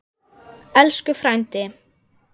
Elsku frændi.